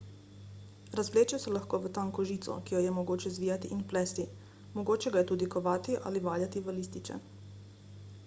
razvleče se lahko v tanko žico ki jo je mogoče zvijati in plesti mogoče ga je tudi kovati ali valjati v lističe